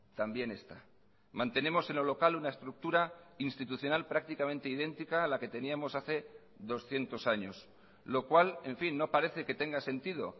también esta mantenemos en lo local una estructura institucional prácticamente idéntica a la que teníamos hace doscientos años lo cuál en fin no parece que tenga sentido